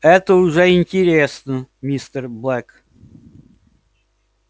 это уже интересно мистер блэк